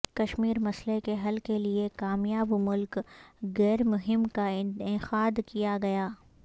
کشمیر مسئلہ کے حل کیلئے کامیاب ملک گیر مہم کا انعقاد کیا گیا